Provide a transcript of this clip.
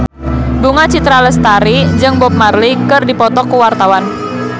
Bunga Citra Lestari jeung Bob Marley keur dipoto ku wartawan